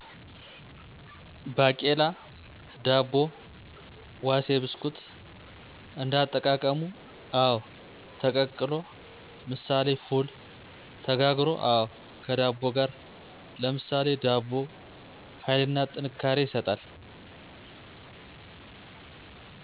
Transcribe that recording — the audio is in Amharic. ባቄላ ዳቦ ዋሴ ብስኩት: እንዳጠቃቀሙ :አወ: ተቀቅሎ ምሳሌ ፉል :ተጋግሮ: አወ ከዳቦጋር ለምሳሌ ዳቦ ሀይልና ጥንካሬ ይሰጣል